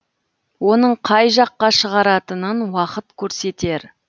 оның қай жаққа шығаратынын уақыт көрсетер